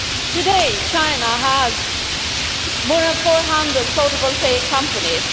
Today China has more than 400 photovoltaic companies.